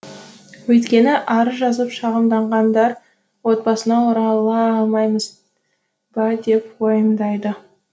өйткені арыз жазып шағымданғандар отбасына орала алмаймыз ба деп уайымдайды